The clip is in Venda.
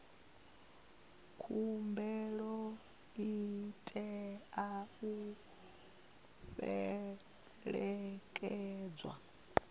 khumbelo i tea u fhelekedzwa